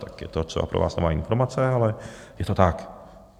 Tak je to třeba pro vás nová informace, ale je to tak.